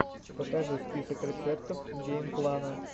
покажи список рецептов геймплана